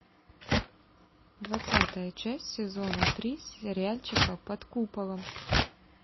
двадцатая часть сезона три сериальчика под куполом